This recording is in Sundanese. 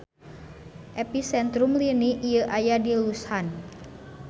Episentrum lini ieu aya di Lushan.